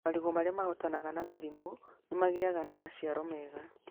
Marigũ marĩa mahootanaga na mĩrimũ nĩmagĩaga namaciaro mega.